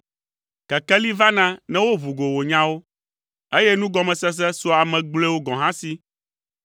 Kekeli vana ne woʋu go wò nyawo, eye nugɔmesese sua ame gblɔewo gɔ̃ hã si.